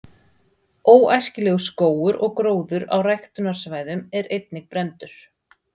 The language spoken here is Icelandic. Óæskilegur skógur og gróður á ræktunarsvæðum er einnig brenndur.